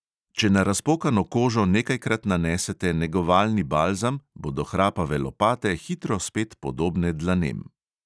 Če na razpokano rožo nekajkrat nanesete negovalni balzam, bodo hrapave lopate hitro spet podobne dlanem.